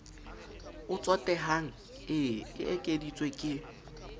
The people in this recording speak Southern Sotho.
o tsotehang e ekeditswe ke